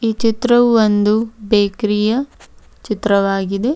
ಈ ಚಿತ್ರವು ಒಂದು ಬೇಕ್ರಿಯ ಚಿತ್ರವಾಗಿದೆ.